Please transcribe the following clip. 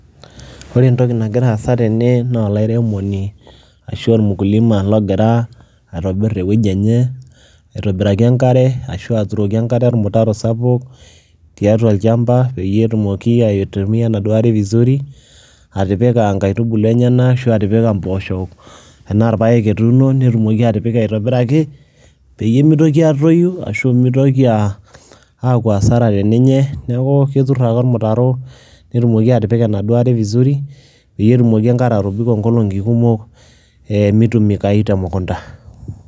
Ore entoki nagira aasa tene naa olairemoni ashu ormukulima logira aitobir ewueji enye aitobiraki enkare ashu aturoki enkare ormutaro sapuk tiatua olchamba peyie atumoki aitumia enaduo are vizuri atipika nkaitubulu enyenak ashu atipika mpoosho enaa irpaek etuuno netumoki atipika aitobiraki peyie mitoki aatoyu ashu mitoki aa aaku hasara te ninye, neeku ketur ake ormutaro netumoki atipika enaa duo are vizuri peyie etumoki enkare atobiko nkolong'i kumok ee mitumikayu te mukunda.